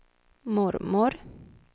mormor